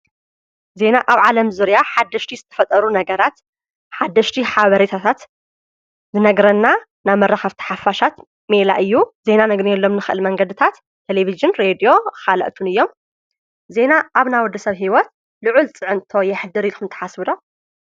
ዜና ኣብ ዓለም ዙርያ ሓሽቲ ዝትፈጠሩ ነገራት ሓድሽቲ ሓብሬታታት ዝነግረና ናብመረኽኣፍቲ ሓፋሻት ሜላ እዩ ዜይና ነግነየሎም ንኽእሊ መንገድታት ተሌፊጅን ሬድዮ ኻልእቱን እዮም ዜና ኣብ ናወዲ ሰብ ሕይወት ልዑል ጽዕንቶ የኅድር ኢልኩም ተሓስብዶ፡፡